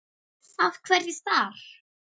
Af hverju þar?